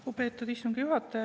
Lugupeetud istungi juhataja!